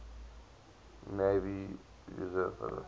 navy reserve fleet